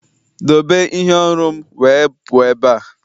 Doobe ihe oru'm wee puo ebe a!